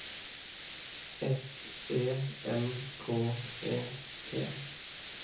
S E N K E T